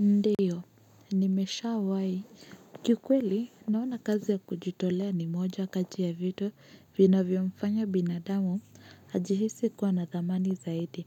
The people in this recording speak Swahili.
Ndiyo, nimeshawahi. Kuikweli, naona kazi ya kujitolea ni moja kati ya vitu vinavyomfanya binadamu, ajihisi kuwa na thamani zaidi.